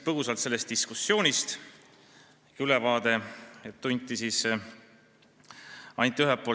Teen sellest diskussioonist põgusa ülevaate.